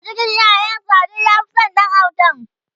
a cikin ƴaƴan sa duk ya Fi San Ɗan autan